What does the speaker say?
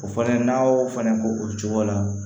O fana n'a y'o fana k'o cogo la